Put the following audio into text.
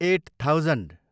at thousand